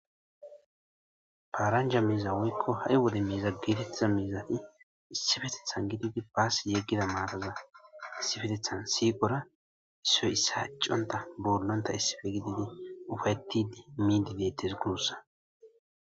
paaranja miiza woykko hare wode miiza geetettiza miizati issifetethan gididi baassi yeggida maataza issifetethan siqora isoy issaa iccontta boollontta issife gididi ufayettidi miiddi deettes guussa.